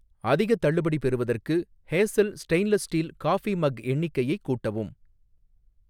அதிகத் தள்ளுபடி பெறுவதற்கு, Hazel stainless steel coffee mug எண்ணிக்கையை கூட்டவும்